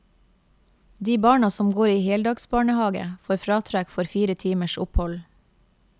De barna som går i heldagsbarnehave får fratrekk for fire timers opphold.